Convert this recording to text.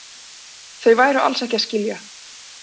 Þau væru alls ekki að skilja